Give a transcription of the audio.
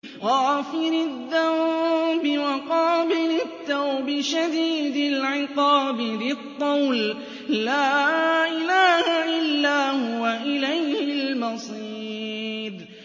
غَافِرِ الذَّنبِ وَقَابِلِ التَّوْبِ شَدِيدِ الْعِقَابِ ذِي الطَّوْلِ ۖ لَا إِلَٰهَ إِلَّا هُوَ ۖ إِلَيْهِ الْمَصِيرُ